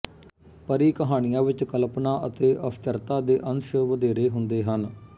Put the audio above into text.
ਪਰੀ ਕਹਾਣੀਆਂ ਵਿੱਚ ਕਲਪਨਾ ਅਤੇ ਅਸਚਰਤਾ ਦੇ ਅੰਸ਼ ਵਧੇਰੇ ਹੁੰਦੇ ਹਨ